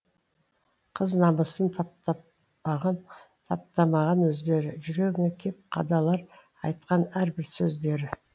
қыз намысын таптатпаған таптамаған өздері жүрегіңе кеп қадалар айтқан әрбір сөздері